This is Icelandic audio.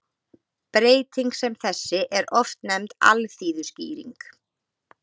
Breyting sem þessi er oft nefnd alþýðuskýring.